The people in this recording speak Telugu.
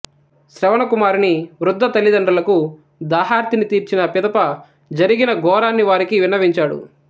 శ్రవణ కుమారుని వృద్ధ తల్లిదండ్రులకు దాహార్తిని తీర్చిన పిదప జరిగిన ఘోరాన్ని వారికి విన్నవించాడు